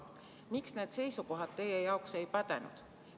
Miks need seisukohad teie jaoks ei pädenud?